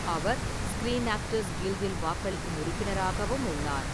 அவர் screen actors கில்டில் வாக்களிக்கும் உறுப்பினராகவும் உள்ளார்.